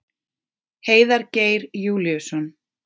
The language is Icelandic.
Heiðar Geir Júlíusson.